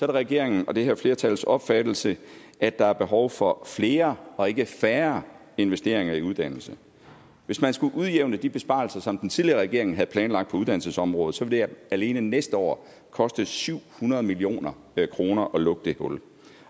det regeringen og det her flertals opfattelse at der er behov for flere og ikke færre investeringer i uddannelse hvis man skulle udjævne de besparelser som den tidligere regering havde planlagt på uddannelsesområdet så vil det alene næste år koste syv hundrede million kroner at lukke det hul